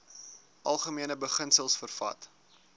algemene beginsels vervat